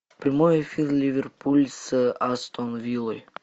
прямой эфир ливерпуль с астон виллой